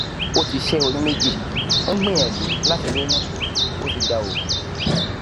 ó ti ṣé oyún méjì ó ń gbìyànjú láti lóyún ó ti gba oògùn